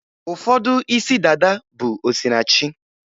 Ụfọdụ isi dada bụ osinachi